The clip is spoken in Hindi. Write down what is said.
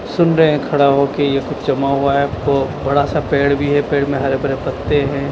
सुन रहे हैं खड़ा होके यह कुछ जमा हुआ है ब बड़ा सा पेड़ भी है पेड़ में हरे भरे पत्ते हैं।